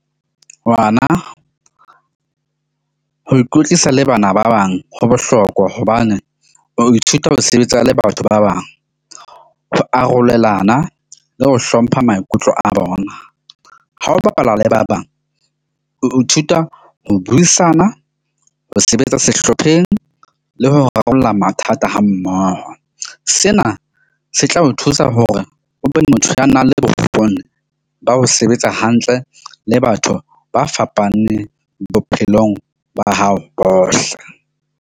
Ngwana ho ikwetlisa le bana ba bang. Ho bohlokwa hobane o ithuta ho sebetsa le batho ba bang, ho arolelana le ho hlompha maikutlo a bona. Ha o bapala le ba bang, o ithuta ho buisana, ho sebetsa sehlopheng le ho rarolla mathata ha mmoho. Sena se tla o thusa hore o be motho ya nang le bokgoni ba ho sebetsa hantle le batho ba fapaneng bophelong ba hao bohle.